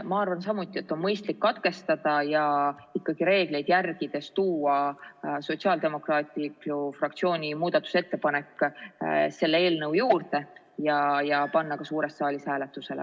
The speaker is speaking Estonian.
Ma arvan samuti, et on mõistlik lugemine katkestada ja ikkagi reegleid järgides tuua sotsiaaldemokraatide fraktsiooni muudatusettepanek selle eelnõu juurde ja panna ka suures saalis hääletusele.